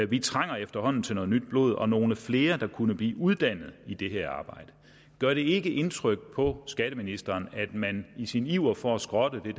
vi trænger efterhånden til noget nyt blod og nogle flere der kunne blive uddannet i det her arbejde gør det ikke indtryk på skatteministeren at man i sin iver for at skrotte det